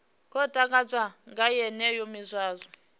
khou takadzwa nga yeneyo miswaswo